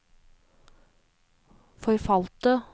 forfalte